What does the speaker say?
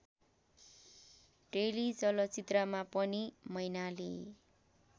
टेलिचलचित्रमा पनि मैनाली